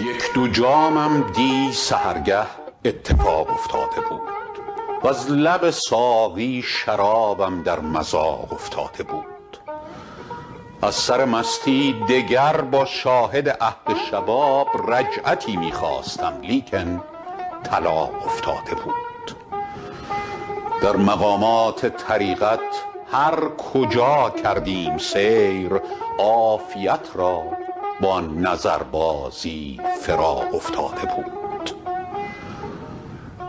یک دو جامم دی سحرگه اتفاق افتاده بود وز لب ساقی شرابم در مذاق افتاده بود از سر مستی دگر با شاهد عهد شباب رجعتی می خواستم لیکن طلاق افتاده بود در مقامات طریقت هر کجا کردیم سیر عافیت را با نظربازی فراق افتاده بود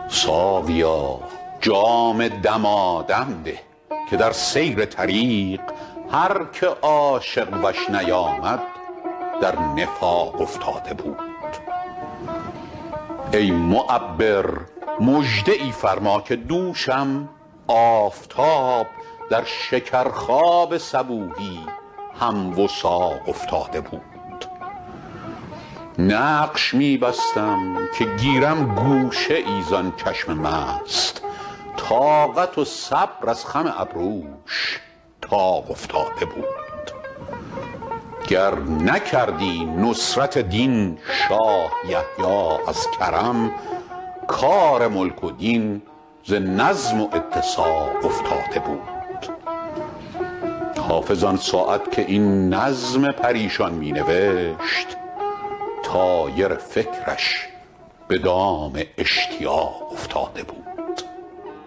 ساقیا جام دمادم ده که در سیر طریق هر که عاشق وش نیامد در نفاق افتاده بود ای معبر مژده ای فرما که دوشم آفتاب در شکرخواب صبوحی هم وثاق افتاده بود نقش می بستم که گیرم گوشه ای زان چشم مست طاقت و صبر از خم ابروش طاق افتاده بود گر نکردی نصرت دین شاه یحیی از کرم کار ملک و دین ز نظم و اتساق افتاده بود حافظ آن ساعت که این نظم پریشان می نوشت طایر فکرش به دام اشتیاق افتاده بود